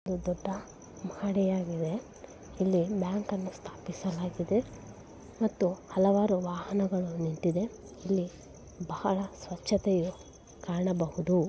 ಇದು ದೊಡ್ಡ ಮಹಡಿಯಾಗಿದೆ ಇಲ್ಲಿ ಬ್ಯಾಂಕ್ ಅನ್ನು ಸ್ಥಾಪಿಸಲಾಗಿದೆ ಮತ್ತು ಹಲವಾರು ವಾಹನಗಳು ನಿಂತಿದೆ ಇಲ್ಲಿ ಬಹಳ ಸ್ವಚ್ಛತೆಯು ಕಾಣಬಹುದು.